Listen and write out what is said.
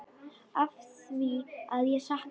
Afþvíað ég sakna.